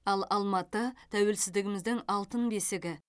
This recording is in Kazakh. ал алматы тәуелсіздігіміздің алтын бесігі